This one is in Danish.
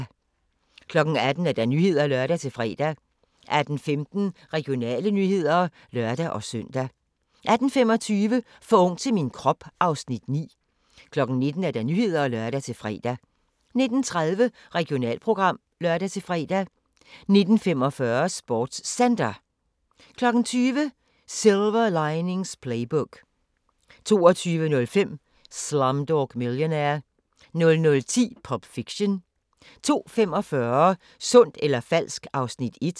18:00: Nyhederne (lør-fre) 18:15: Regionale nyheder (lør-søn) 18:25: For ung til min krop (Afs. 9) 19:00: Nyhederne (lør-fre) 19:30: Regionalprogram (lør-fre) 19:45: SportsCenter 20:00: Silver Linings Playbook 22:05: Slumdog Millionaire 00:10: Pulp Fiction 02:45: Sundt eller falsk? (Afs. 1)